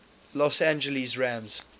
los angeles rams